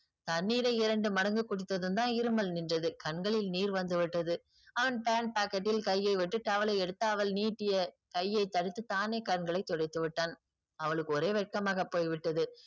தண்ணீரை இரண்டு மடங்கு குடித்ததும் தான் இருமல் நின்றது. கண்களில் நீர் வந்து விட்டது. அவன் pant pocket ல் கையை விட்டு towel ஐ எடுத்து அவள் நீட்டிய கையை தடுத்து தானே கண்களை துடைத்து விட்டான். அவளுக்கு ஒரே வெட்கமாக போய்விட்டது.